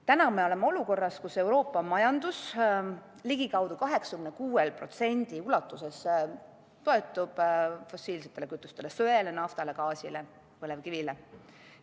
Täna me oleme olukorras, kus Euroopa majandus toetub ligikaudu 86% ulatuses fossiilsetele kütustele: söele, naftale, gaasile, põlevkivile.